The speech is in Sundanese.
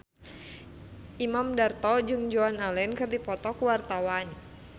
Imam Darto jeung Joan Allen keur dipoto ku wartawan